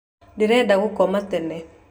Ndĩrenda gũkoma tene